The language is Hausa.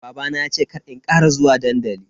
Babana ya ce kar in kara zuwa dandali.